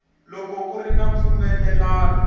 loko ku ri na mpfumelelano